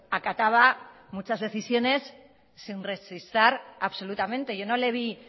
acataba muchas decisiones sin rechistar absolutamente yo no le vi